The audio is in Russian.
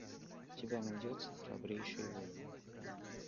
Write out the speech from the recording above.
у тебя найдется храбрейшие воины